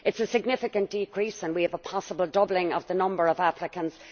It is a significant decrease and we have a possible doubling of the number of applicants.